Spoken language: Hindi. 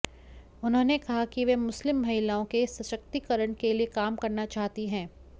उन्होंने कहा कि वह मुस्लिम महिलाओं के सशक्तिकरण के लिए काम करना चाहती है